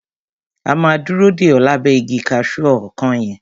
A máa dúró dè o lábẹ́ igi kaṣu ọkán yẹn.